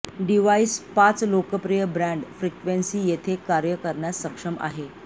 device पाच लोकप्रिय band frequency येथे कार्य करण्यास सक्षम आहे